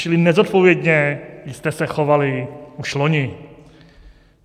Čili nezodpovědně jste se chovali už loni.